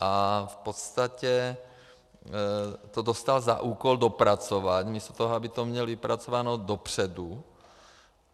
A v podstatě to dostal za úkol dopracovat místo toho, aby to měl vypracováno dopředu.